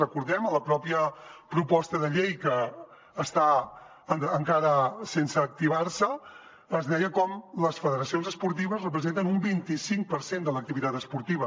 recordem ho en la pròpia proposta de llei que està encara sense activar es deia com les federacions esportives representen un vint i cinc per cent de l’activitat esportiva